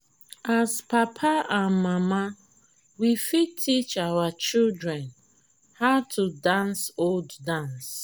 as papa and mama we fit teach our children how to dance old dance